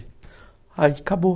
Aí acabou.